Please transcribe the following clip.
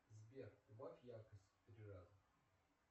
сбер убавь яркость в три раза